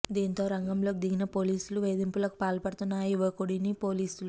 దీంతో రంగంలోకి దిగిన పోలీసులు వేధింపులకు పాల్పడుతున్న ఆ యువకుడిని పోలీసులు